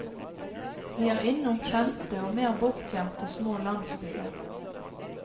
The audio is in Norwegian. Vi er innom kjente og mer bortgjemte små landsbyer.